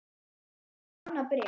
Lét hann þig fá annað bréf?